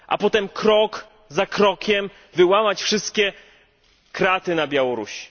A potem krok za krokiem wyłamać wszystkie kraty na Białorusi.